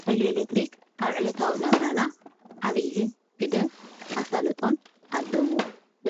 ሓይሊ ኤሌክትሪት ኣብ ዕለታዊ ናብራና ዓብዪ ግደን ኣሳልጦን ኣለዎ፡፡